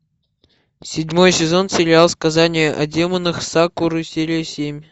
седьмой сезон сериал сказание о демонах сакуры серия семь